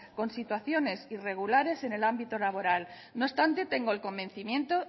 con situaciones irregulares en el ámbito laboral no obstante tengo el convencimiento